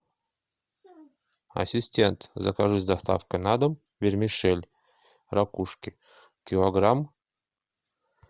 ассистент закажи с доставкой на дом вермишель ракушки килограмм